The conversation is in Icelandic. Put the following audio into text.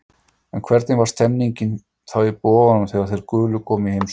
En hvernig var stemmningin þá í Boganum þegar þeir gulu komu í heimsókn?